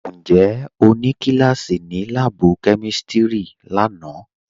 Ǹjẹ́ o nì kílàsí ní làábù̀ kẹmístírì làánà